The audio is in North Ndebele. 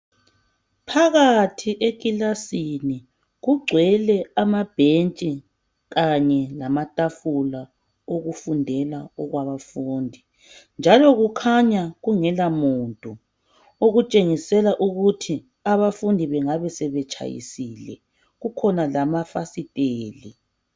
Phakathi ekilasini kugcwele amabhentshi kanye lamatafula okufundela okwabafundi. Njalo kukhanya kungela muntu okutshengisela ukuthi abafundi bengabe sebetshayisile, kukhona lamafasiteli.